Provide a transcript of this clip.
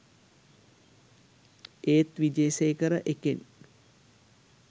ඒත් විජේසේකර එකෙන්